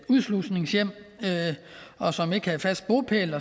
udslusningshjem og som ikke havde fast bopæl